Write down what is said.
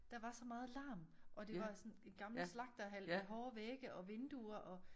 Der var så meget larm og det var sådan en gammel slagterhal med hårde vægge og vinduer og